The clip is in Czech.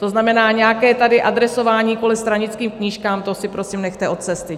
To znamená, nějaké tady adresování kvůli stranickým knížkám, to si prosím nechte od cesty!